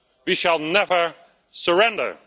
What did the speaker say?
we shall never surrender'.